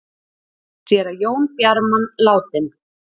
Séra Jón Bjarman látinn